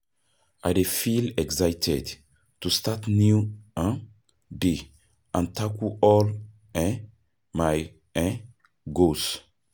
I dey feel excited to start new um day and tackle all um my um goals.